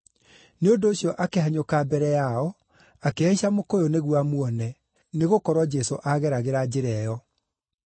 Nĩ ũndũ ũcio akĩhanyũka mbere yao, akĩhaica mũkũyũ nĩguo amuone, nĩgũkorwo Jesũ aageragĩra njĩra ĩyo.